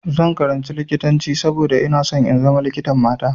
Zan karanci likitanci saboda ina so in zama likitan mata.